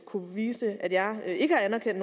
kunne påvise at jeg ikke har anerkendt